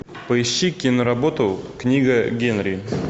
поищи киноработу книга генри